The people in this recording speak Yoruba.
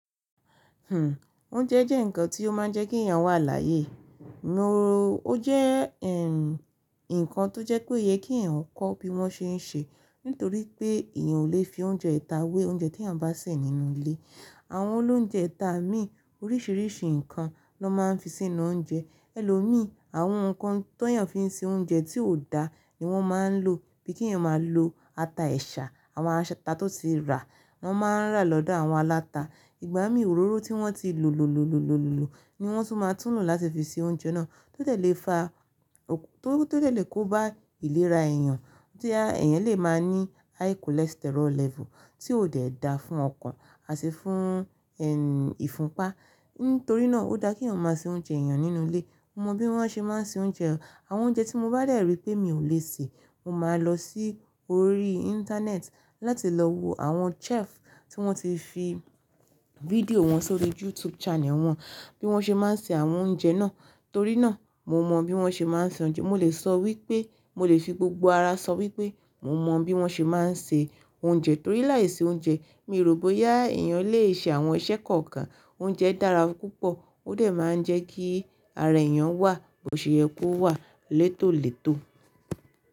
Hmm, oúnjẹ jẹ́ ǹkan tí ó máa ń jẹ́ kí èèyàn wà làyèe. Mo ro ó jẹ́ ẹ́, ǹkan tó jẹ́ pé iye kí eyàn kọ́ bí wọ́n ṣe ń ṣe, nítorí pé èèyàn ò lè fi oúnjẹ ita wé oúnjẹ tí eeyan bá sè nínú ilé. Àwọn olóunjẹ́ ta mí oríṣiríṣi ǹkan ni won máa ń fi sínú oúnjẹ. Ẹ̀lòmíi, àwọn ǹkan t'eyann fi ń ṣe oúnjẹ ti o da ni wọ́n máa ń lò bí kí ẹ̀yàn máa lò ata ẹṣà, àwọn ata tó ti rà wọ́n máa ń rà lọ́dọ̀ àwọn aláta. Ìgbà míi òróró tí wọ́n ti lo lo lo lo lo lo lo ni wọ́n tún máa tún lò láti fi ṣe oúnjẹ náà. Tó dẹ̀ lè faa, tó to dẹ̀ lè kó bá ìlera èèyàn tí èèyàn lè máa ní high cholesterol level tí ò dẹ da fún ọkàn àti fún ẹ́ ìfunpá. Nítorí náà, ó da kí eeyàn máa ṣe oúnjẹ èèyàn nínú ilé. Mo mọ bí wọ́n ṣe máa ń ṣe oúnjẹ. Àwọn oúnjẹ tí mo bá de rí pé mi ò lè sè, mo máa lọ sí orí internet láti lọ wo àwọn chef tí wọ́n ti fi fídíò wọn sórí YouTube channel wọn bí wọ́n ṣe máa ń ṣe àwọn oúnjẹ náà. Torí náà, mo mọ bí wọ́n ṣe máa ń ṣe oúnjẹ. Mo lè sọ wípé mo lè fi gbogbo ara sọ wípé mo mọ bí wọ́n ṣe máa ń se oúnjẹ. Torí láìsí oúnjẹ, mii rò boya èèyàn lè ṣe àwọn iṣẹ́ kọ̀ọ̀kan. Oúnjẹ dára púpọ̀, ó dẹ̀ máa ń jẹ́ kí ara èèyàn wà, bo se ye kó wà létòlètò.